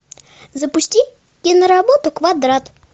запусти и на работу квадрат